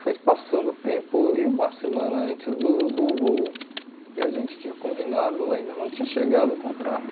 Foi passando tempo e uma semana antes do do voo, que a gente tinha combinado, ainda não tinha chegado o contrato.